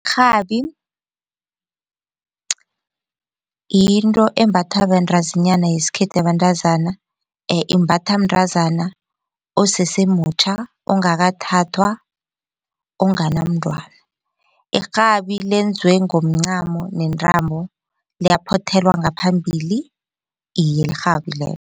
Irhabi yinto embathwa bantazinyana yesikhethu yabentazana imbathwa mntazana osese mutjha ongakathathwa onganamntwana. Irhabi lenziwe ngomncamo nentambo liyaphothelwa ngaphambili iye lirhabi lelo.